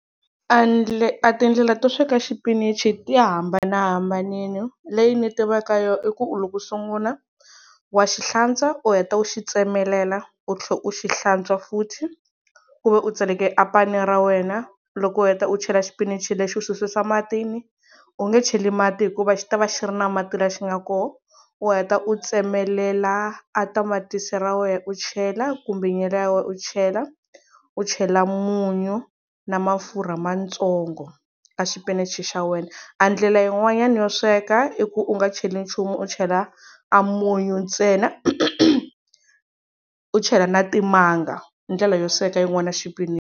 A a tindlela to sweka xipinichi ti hambanahambanile leyi ni tivaka yo i ku loko u sungula wa xi hlantswa u heta u xi tsemelela u tlhela u xi hlantswa futhi ku ve u tsaleke a pani ra wena loko u heta u chela xipinichi lexi u xi susa matini u nge cheli mati hikuva xi ta va xi ri na mati laha xi nga kona u heta u tsemelela a tamatisi ra wena u chela kumbe nyala ya wena u chela, u chela munyu na mafurha matsongo ka xipinichi xa wena a ndlela yin'wanyana yo sweka i ku u nga cheli nchumu u chela a munyu ntsena u chela na timanga i ndlela yo sweka yin'wana ya xipinichi.